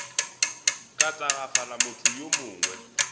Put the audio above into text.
ka tagafala motho yo mongwe